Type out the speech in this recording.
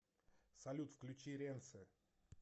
салют включи ренсе